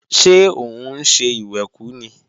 Ṣé òun ń ṣe ìwẹ̀kú ni?